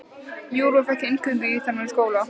Júra fékk inngöngu í þennan skóla.